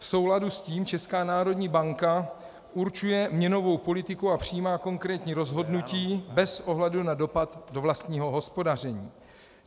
V souladu s tím Česká národní banka určuje měnovou politiku a přijímá konkrétní rozhodnutí bez ohledu na dopad do vlastního hospodaření.